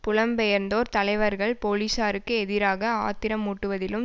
புலம் பெயர்ந்தோர் தலைவர்கள் போலீசாருக்கு எதிராக ஆத்திரமூட்டுவதிலும்